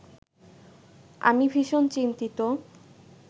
আমি ভীষণ চিন্তিত